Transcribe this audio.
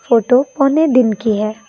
Photo पौने दिन की है।